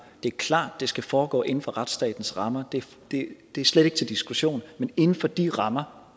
det er klart at det skal foregå inden for retsstatens rammer det er slet ikke til diskussion men inden for de rammer